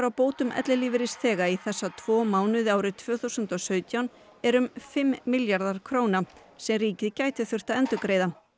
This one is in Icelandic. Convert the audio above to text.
á bótum ellilífeyrisþega í þessa tvo mánuði árið tvö þúsund og sautján er um fimm milljarðar króna sem ríkið gæti þurft að endurgreiða